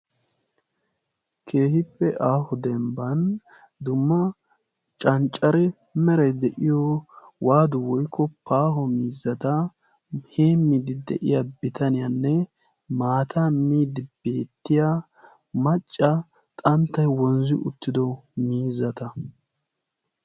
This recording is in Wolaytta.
keehippe aaho dembban dumma canccare meray de7iyo waadu woikko paaho miizzata hee miidi de7iya bitaniyaanne maata miidi beettiya macca xanttai wonzzi uttido miizzata.